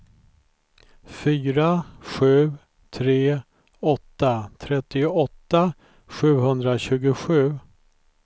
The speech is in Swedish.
fyra sju tre åtta trettioåtta sjuhundratjugosju